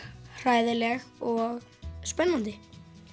hræðileg og spennandi